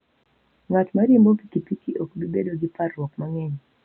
Ng'at ma riembo pikipiki ok bi bedo gi parruok mang'eny.